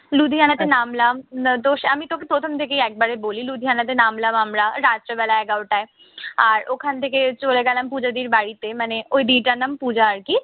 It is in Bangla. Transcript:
লুধিয়ানাতে নামলাম, না দোস আমি তোকে প্রথম থেকে একবারেই বলি। লুধিয়ানাতে নামলাম আমরা রাত্রেবেলা এগারোটায়। আর ওখান থেকে চলে গেলাম পুজোদির বাড়িতে। মানে ওই দিটার নাম পূজা আরকি।